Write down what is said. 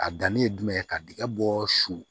A danni ye jumɛn ye ka dingɛ bɔ su